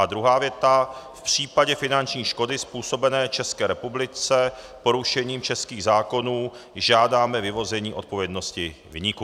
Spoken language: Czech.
A druhá věta: "V případě finanční škody způsobené České republice porušením českých zákonů žádáme vyvození odpovědnosti viníků."